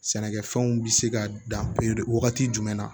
Sɛnɛkɛfɛnw bɛ se ka dan wagati jumɛn na